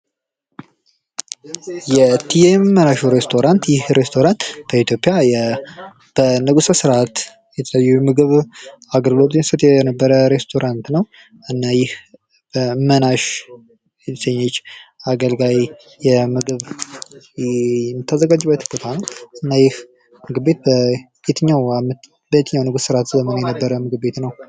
የቲኤም እመናሹ ሬስቶራት ይሄ ሬስቶራት በኢትዮጵያ በንጉሱ ስርዓት የምግብ አገልግሎት ሲሰጥ የነበረ ሬስቶራንት ነዉ። እና ይህ እመናሽ የምግብ አገልጋይ የምታዘጋጅበት ቦታ ይህ ምግብ ቤት በየትኛዉ ዓመት በየትኛዉ የንጉስ ስርዓት የተጀመረ ምግብ ቤት ነዉ?